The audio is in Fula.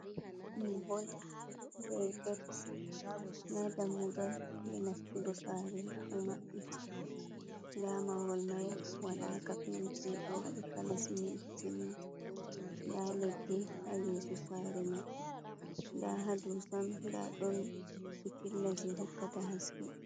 Mahol be get nda dammugal je nastugo, saare ɗo mabbiti nda mahol mai wadaka penti do wadi kala simin simti nda leɗɗi ha yeso sare mai, nda ha dow sam nda ɗon pitilla je hokkata haske.